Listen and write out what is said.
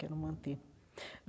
Quero manter.